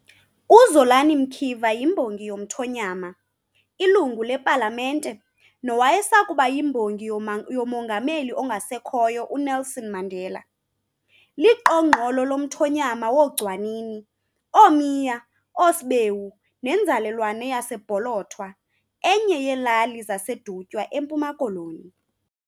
UZolani Mkiva yimbongi yomthonyama, iLungu lePalamente, nowayesakuba yiMbongi yoMongameli ongasekhoyo, uNelson Mandela. Liqongqolo lomthonyama wooGcwanini, ooMiya, ooSbewu, nenzalelwane yaseBholothwa, enye yeelali zaseDutywa, eMpuma Koloni.